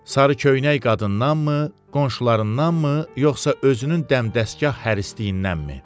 Sarı köynək qadındanmı, qonşularındanmı, yoxsa özünün dəmdəstgah hərisliyindənmi?